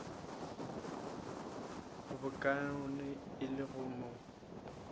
bokaone e le go mo